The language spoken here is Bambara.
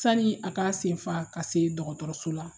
Sanni a ka sen fa ka se dɔgɔtɔrɔso la.